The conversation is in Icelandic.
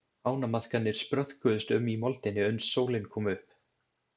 Ánamaðkarnir spröðkuðust um í moldinni uns sólin kom upp.